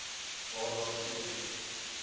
waar daar geen